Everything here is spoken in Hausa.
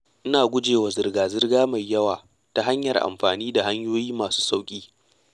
Ina gujewa zirga-zirga mai yawa ta hanyar amfani da hanyoyi masu sauƙi.